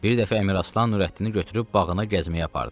Bir dəfə Əmiraslan Nürəddini götürüb bağına gəzməyə apardı.